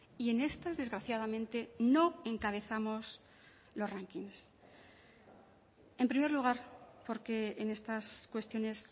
y en estas desgraciadamente no encabezamos los ranking en primer lugar porque en estas cuestiones